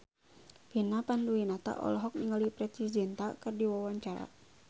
Vina Panduwinata olohok ningali Preity Zinta keur diwawancara